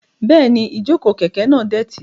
Bẹ́ẹ̀ni, ìjókòó kẹ̀kẹ́ náà dọ̀tí.